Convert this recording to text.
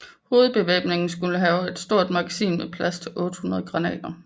Hovedbevæbningen skulle have et stort magasin med plads til 800 granater